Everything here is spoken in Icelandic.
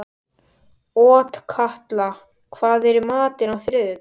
Otkatla, hvað er í matinn á þriðjudaginn?